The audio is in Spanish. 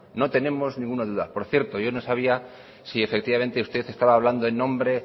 no tenemos ninguna duda por cierto yo no sabía si efectivamente usted estaba hablando en nombre